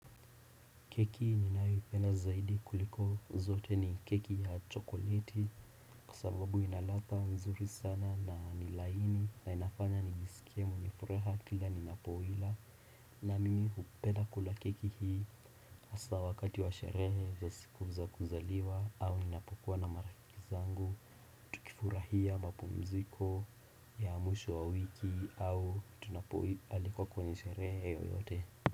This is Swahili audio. Keki ninayoipenda zaidi kuliko zote ni keki ya chokoleti Kwa sababu inaladha mzuri sana na ni laini na inafanya nijisikie mwenye nifuraha kila ninapoila na mimi hupenda kula keki hii haswa wakati wa sherehe za siku za kuzaliwa au ninapokuwa na marafiki zangu kifurahia mapumziko ya mwisho wa wiki au tunapoalikwa kwenye sherehe yoyote.